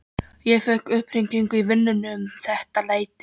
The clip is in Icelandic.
Ég fékk upphringingu í vinnuna um þetta leyti.